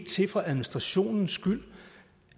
til for administrationens skyld